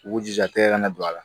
U k'u jija tɛgɛ kana don a la